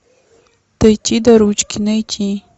дойти до ручки найти